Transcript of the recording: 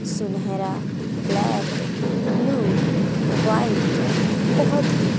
सुनहरा black blue white बहोत ही--